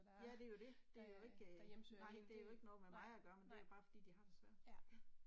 Ja det jo det. Der er jo ikke øh nej det jo ikke noget med mig at gøre men det jo bare fordi de har det svært ja